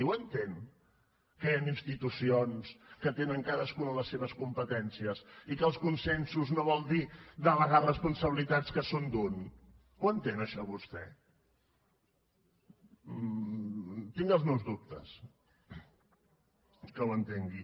ho entén que hi han institucions que tenen cadascuna les seves competències i que els consensos no volen dir delegar responsabilitats que són d’un ho entén això vostè tinc els meus dubtes que ho entengui